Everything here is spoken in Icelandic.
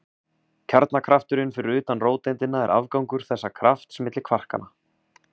Kjarnakrafturinn fyrir utan róteindina er afgangur þessa krafts milli kvarkanna.